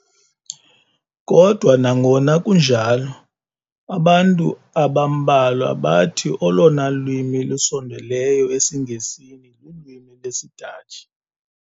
Kodwa nangona kunjalo, abantu abambalwa bathi olona lwimi lusondeleyo esiNgesini lulwimi lwesiDatshi.